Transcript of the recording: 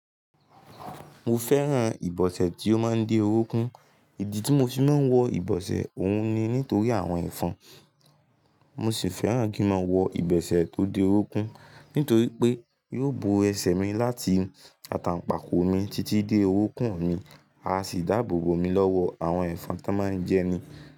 Mo fẹ́ran ìbọsẹ̀ tí ó máa ń dé orókún, ìdí tí mo fi máa ń wọ ìbọsẹ̀ òun ni nítorí àwọn ẹ̀fọn. Mo sì fẹ́ràn kí n máa wọ ìbosẹ̀ tó dé orunkún nítorí pé yóò bo ẹsẹ̀ mi láti àtàǹpàkò mi títí dé orunkún mi, a sì dáàbò bo mi lọ́wọ́ àwọn ẹ̀fọn tó máa ń jẹni.